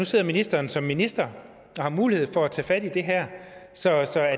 sidder ministeren som minister og har mulighed for at tage fat i det her så er